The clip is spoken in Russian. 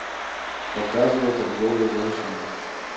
показывай торговля женщинами